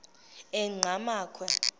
engqamakhwe